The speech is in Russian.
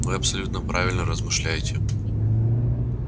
вы абсолютно правильно размышляете